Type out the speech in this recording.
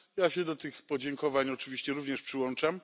Ja się do tych podziękowań oczywiście również przyłączam.